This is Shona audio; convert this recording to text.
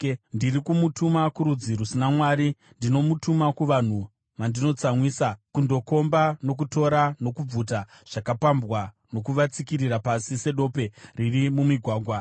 Ndiri kumutuma kurudzi rusina Mwari, ndinomutuma kuvanhu vanonditsamwisa, kundokomba nokutora nokubvuta zvakapambwa, nokuvatsikirira pasi sedope riri mumigwagwa.